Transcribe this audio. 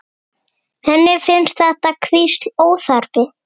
Henni finnst þetta hvísl óþarft.